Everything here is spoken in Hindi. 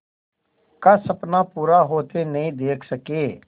का सपना पूरा होते नहीं देख सके